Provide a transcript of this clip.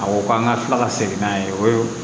A ko k'an ka kila ka segin n'a ye o ye